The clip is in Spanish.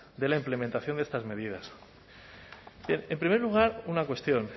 de la implementación de estas medidas en primer lugar una cuestión